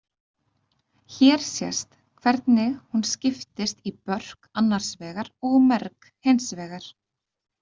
Hér sést hvernig hún skiptist í börk annars vegar og merg hins vegar.